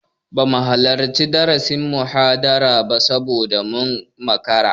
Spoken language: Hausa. Bamu halarci darasin/muhadarar ba saboda mun makara.